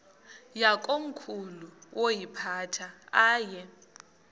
yakomkhulu woyiphatha aye